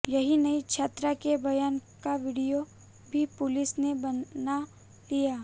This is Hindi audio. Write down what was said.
यही नहीं छात्रा के बयान का वीडियो भी पुलिस ने बना लिया